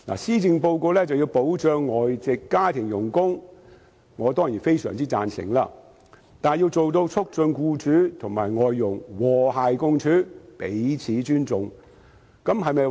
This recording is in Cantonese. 施政報告建議保障外傭，我當然非常贊成，但是否必定能達到促進僱主與外傭和諧共處、彼此尊重的目的呢？